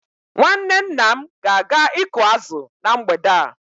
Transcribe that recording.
Nwanne nna m ga-aga ịkụ azụ na mgbede a